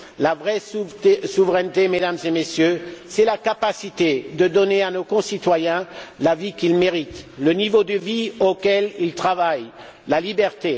La vraie souveraineté, Mesdames et Messieurs, c'est la capacité de donner à nos concitoyens la vie qu'ils méritent, le niveau de vie pour lequel ils travaillent, la liberté.